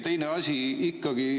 Teine asi.